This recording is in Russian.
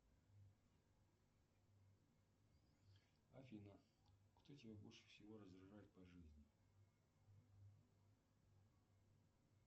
афина кто тебя больше всего раздражает по жизни